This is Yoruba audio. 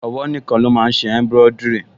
Ọwọ́ nìkan ló máa n ṣe embroidery